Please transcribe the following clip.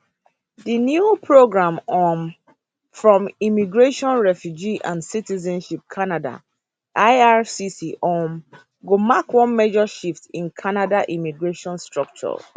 dis new programs um from immigration refugee and citizenship canada ircc um go mark one major shift in canada immigration structure